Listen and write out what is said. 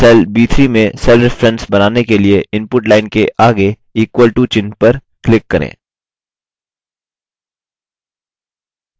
cell b3 में cell reference बनाने के लिए input line के आगे equal to चिह्न पर click करें